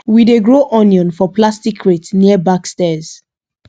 we dey grow onion for plastic crate near back stairs